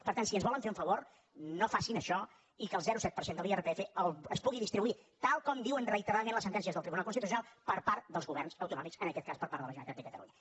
per tant si ens volen fer un favor no facin això i que el zero coma set per cent de l’irpf es pugui distribuir tal com diuen reiteradament les sentències del tribunal constitucional per part dels governs autonòmics en aquest cas per part de la generalitat de catalunya